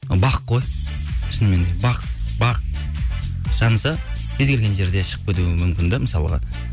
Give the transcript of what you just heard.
бақ қой шынымен де бақ бақ жанса кез келген жерде шығып кетуі мүмкін де мысалға